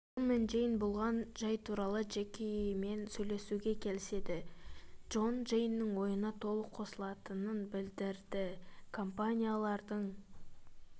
джон мен джейн болған жай туралы джекимен сөйлесуге келіседі джон джейннің ойына толық қосылатынын білдірді компаниялардың